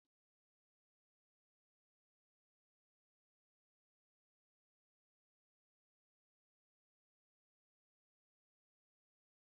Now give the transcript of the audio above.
Dattawan majalisar Nde Ichie suna ba da hikima da warware rashin jituwa, idanunsu cike da labarai.